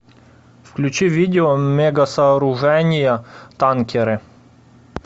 включи видео мегасооружения танкеры